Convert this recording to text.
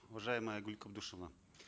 уважаемая айгуль кабдешевна